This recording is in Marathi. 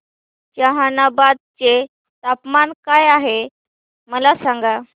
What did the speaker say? जहानाबाद चे तापमान काय आहे मला सांगा